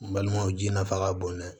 N balimaw ji nafa ka bon dɛ